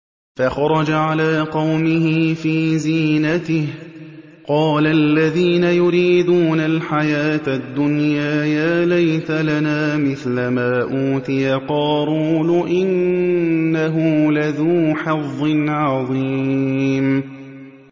فَخَرَجَ عَلَىٰ قَوْمِهِ فِي زِينَتِهِ ۖ قَالَ الَّذِينَ يُرِيدُونَ الْحَيَاةَ الدُّنْيَا يَا لَيْتَ لَنَا مِثْلَ مَا أُوتِيَ قَارُونُ إِنَّهُ لَذُو حَظٍّ عَظِيمٍ